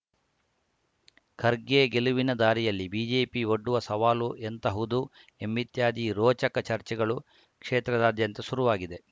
ಖರ್ಗೆ ಗೆಲುವಿನ ದಾರಿಯಲ್ಲಿ ಬಿಜೆಪಿ ಒಡ್ಡುವ ಸವಾಲು ಎಂತಹುದ್ದು ಎಂಬಿತ್ಯಾದಿ ರೋಚಕ ಚರ್ಚೆಗಳು ಕ್ಷೇತ್ರಾದ್ಯಂತ ಶುರುವಾಗಿದೆ